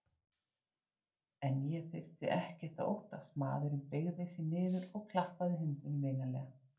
En ég þurfti ekkert að óttast, maðurinn beygði sig niður og klappaði hundinum vinalega.